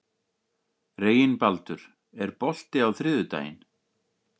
Reginbaldur, er bolti á þriðjudaginn?